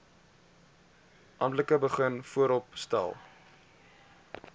amptelik begin vooropstel